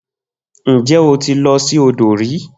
Nje o ti lo si odo ri?